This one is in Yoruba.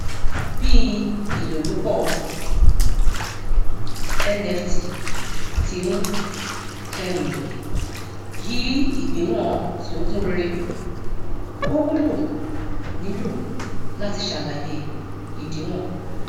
bí ìlòlúpọ nft tí ń um yí ìgbéwòn tí ó kún réré ò wúlò nílò láti sàlàyé ìdíwọn